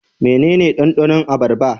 Mene ne dandanon abarba?